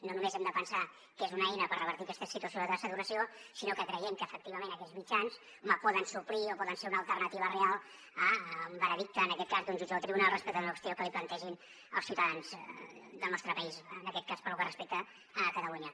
no només hem de pensar que és una eina per revertir aquesta situació de saturació sinó que creiem que efectivament aquests mitjans poden suplir o poden ser una alternativa real a un veredicte en aquest cas d’un jutge o tribunal respecte a una qüestió que li plantegin els ciutadans del nostre país en aquest cas pel que respecta a catalunya